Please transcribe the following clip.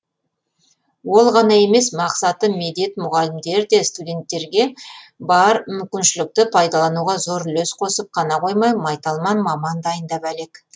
ол ғана емес мақсаты медет мұғалімдер де студенттерге бар мүмкіншілікті пайдалануға зор үлес қосып қана қоймай майталман маман дайындап әлек